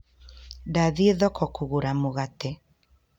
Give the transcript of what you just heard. Ndathiĩ thoko kũgũra mũgate